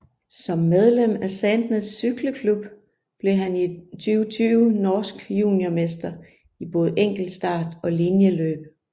Som medlem af Sandnes Sykleklubb blev han i 2020 norsk juniormester i både enkeltstart og linjeløb